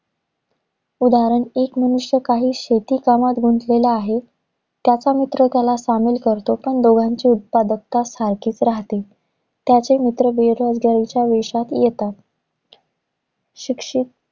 उदाहरण, एक मनुष्य काही शेती कामत गुंतलेला आहे. त्याचा मित्र त्याला सामील करतो, पण दोघांची उत्पादकता सारखीच राहते. त्याचे मित्र बेरोजगारीच्या वेशात येतात. शिक्षित